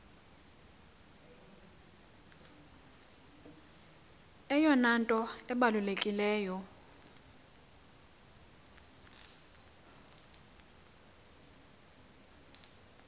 eyona nto ibalulekileyo